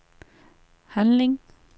handling